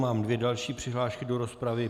Mám dvě další přihlášky do rozpravy.